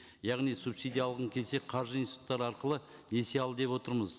яғни субсидия алғың келсе қаржы институттары арқылы несие ал деп отырмыз